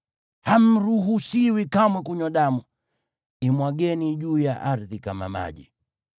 Hamruhusiwi kamwe kunywa damu; imwageni juu ya ardhi kama maji.